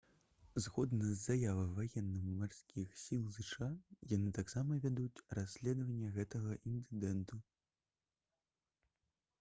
згодна з заявай ваенна-марскіх сіл зша яны таксама вядуць расследаванне гэтага інцыдэнту